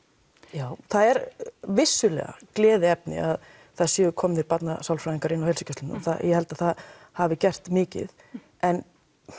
já það er vissulega gleðiefni að það séu komnir barnasálfræðingar inn á heilsugæslurnar ég held að það hafi gert mikið en